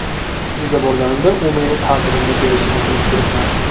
Uyga borganimda u meni ta’zirimni berishini bilib turibman.